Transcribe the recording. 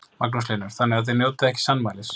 Magnús Hlynur: Þannig að þið njótið ekki sannmælis?